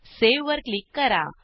save वर click करा